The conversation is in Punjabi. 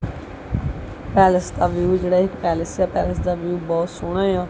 ਪੈਲੇਸ ਦਾ ਵਿਊ ਜੇਹੜਾ ਇੱਕ ਪੈਲੇਸ ਆ ਪੈਲੇਸ ਦਾ ਵਿਊ ਜੇਹੜਾ ਬੋਹੁਤ ਸੋਹਣਾ ਯਾ।